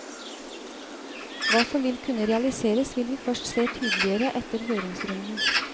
Hva som vil kunne realiseres vil vi først se tydeligere etter høringsrunden.